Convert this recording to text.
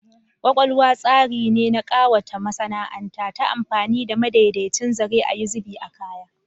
Embroidery is the process of adorning fabric using with threaded designs